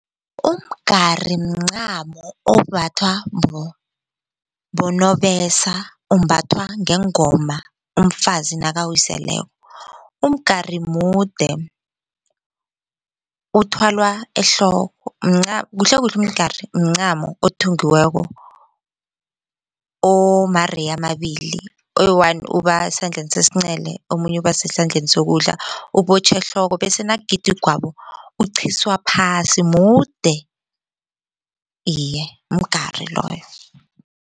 Umgari mncamo ombathwa bonobesa umbathwa ngengoma umfazi nakawiseleko. Umgari mude uthwalwa ehloko mncamo, kuhlekuhle umgari mncamo othungiweko omareyi amabili, oyi-one ubasesandleni sesingcele omunye ubasesandleni sokudla. Ubotjhwa ehloko bese nakugidwa igwabo uqhiswa phasi mude iye mgari loyo.